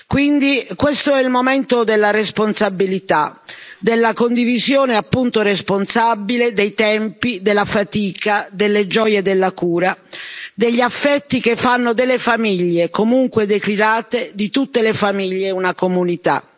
Quindi questo è il momento della responsabilità, della condivisione, appunto, responsabile dei tempi, della fatica, delle gioie della cura, degli affetti che fanno delle famiglie, comunque declinate, di tutte le famiglie, una comunità.